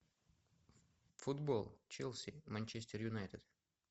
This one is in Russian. футбол челси манчестер юнайтед